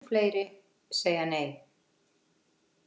Mun fleiri segja nei